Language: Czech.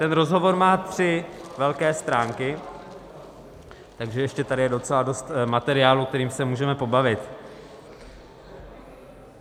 Ten rozhovor má tři velké stránky, takže ještě tady je docela dost materiálu, kterým se můžeme pobavit.